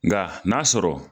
Nga n'a sɔrɔ